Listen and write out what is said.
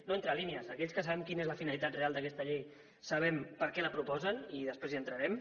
no entre línies aquells que sabem quina és la finalitat real d’aquesta llei sabem per què la proposen i després hi entrarem